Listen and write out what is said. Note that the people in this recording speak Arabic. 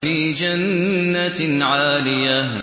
فِي جَنَّةٍ عَالِيَةٍ